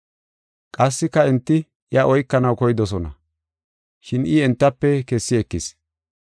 Qassika enti iya oykanaw koydosona, shin I entafe kessi ekis.